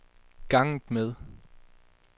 ganget med